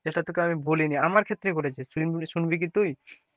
যেটা তোকে আমি বলিনি আমার ক্ষেত্রে বলেছে শুনবি কি তুই,